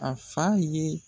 A fa ye